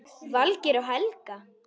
Valgeir og Helga.